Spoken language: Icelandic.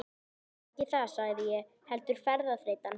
Það er ekki það sagði ég, heldur ferðaþreytan.